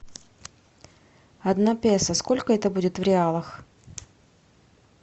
одна песо сколько это будет в реалах